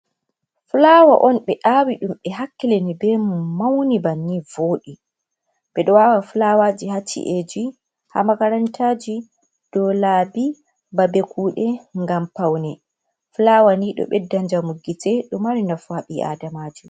Fulawa on ɓe awiɗum ɓe hakkilini be mum, mawni bannin voɗi. Ɓeɗo awa fulawa ji ha ciaa ji ,ha makaranta ji ,do labi ,babe kuɗe ngam fawne. Ɗo ɓedda njamu gite, Ɗo mari nafu ha ɓi adamajo.